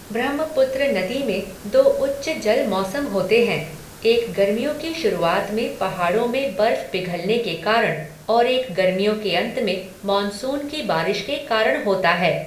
ब्रह्मपुत्र नदी में दो उच्च जल मौसम होते हैं, एक गर्मियों की शुरुआत में पहाड़ों में बर्फ पिघलने के कारण और एक गर्मियों के अंत में मानसून की बारिश के कारण होता है।